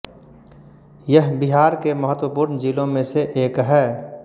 यह बिहार के महत्वपूर्ण जिलों में से एक है